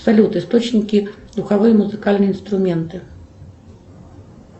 салют источники духовые музыкальные инструменты